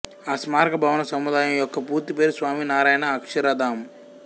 ఆ స్మారక భవన సముదాయం యొక్క పూర్తిపేరు స్వామి నారాయణ్ అక్షరధామ్